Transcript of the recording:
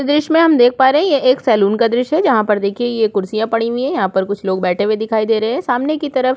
इस दृश्य में हम देख पा रहै हैं यह एक सैलून का दृश्य है जहाँ पर देखिए ये कुर्सीयां पड़ी हुई है यहाँ पर कुछ लोग बैठे हुए दिखाई दे रहै हैं सामने की तरफ --